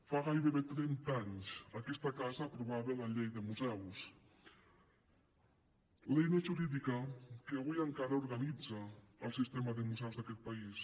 fa gairebé trenta anys aquesta casa aprovava la llei de museus l’eina jurídica que avui encara organitza el sistema de museus d’aquest país